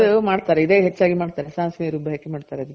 ಇದು ಮಾಡ್ತಾರೆ ಇದೆ ಹೆಚ್ಚಾಗ್ ಮಾಡ್ತಾರೆ ಸಾಸ್ವೆ ರುಬ್ಬಿ ಹಾಕಿ ಮಾಡ್ತಾರೆ ಅದಕ್ಕೆ